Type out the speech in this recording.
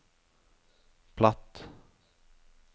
platt